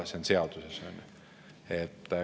See on seaduses, on ju.